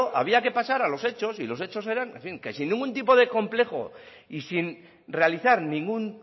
había que pasar a los hechos y los hechos eran en fin que sin ningún tipo de complejo y sin realizar ningún